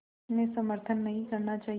में समर्थन नहीं करना चाहिए